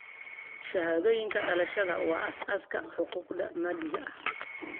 Shahaadooyinka dhalashada waa aasaaska xuquuqda madaniga ah.